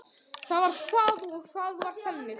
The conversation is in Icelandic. Það var það og það var þannig.